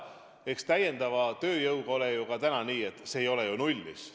Samas täiendava tööjõuga on ju nii, et see ei ole nullis.